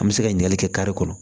An bɛ se ka ɲininkali kɛ ka kɔrɔ